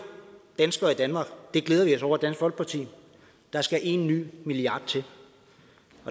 danskere i danmark det glæder vi os over i dansk folkeparti der skal en ny milliard til